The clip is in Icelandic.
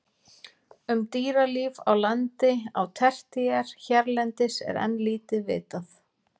Um dýralíf á landi á tertíer hérlendis er enn lítið vitað.